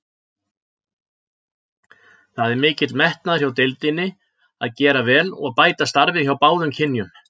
Það er mikil metnaður hjá deildinni að gera vel og bæta starfið hjá báðum kynjum.